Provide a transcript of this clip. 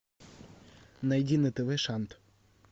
найди на тв шант